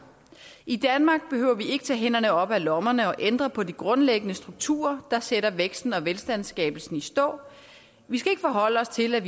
i danmark behøver vi ikke tage hænderne op af lommerne og ændre på de grundlæggende strukturer der sætter væksten og velstandsskabelsen i stå vi skal ikke forholde os til at